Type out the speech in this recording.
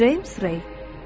James Rey.